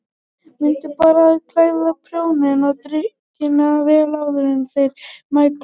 Mundu bara að kæla bjórinn og drykkina vel áður en þeir mæta.